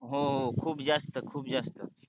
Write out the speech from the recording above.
हो खूप जास्त खूप जास्त,